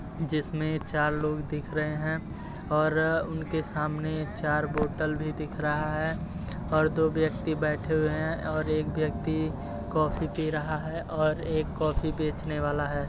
जिसमें चार लोग दिख रहे हैं और उनके सामने चार बोटल भी दिख रहा है और दो व्यक्ति बैठे हुए है और एक व्यक्ति कॉफ़ी पी रहा है और एक कॉफ़ी बेचने वाला है।